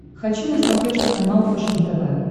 хочу на смотрешке канал фэшен тв